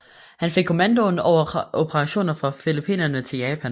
Han fik kommandoen over operationer fra Filippinerne til Japan